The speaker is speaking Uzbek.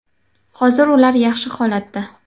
Hozir ular yaxshi holatda.